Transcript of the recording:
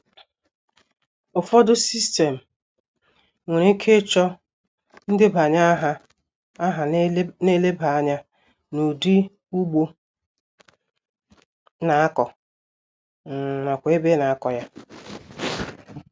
Ufọdu sistem nwere ike ịchọ ndebanye aha na-eleba anya n'ụdi ugbo ị na-akọ um nakwa ebe ị na-akọ ya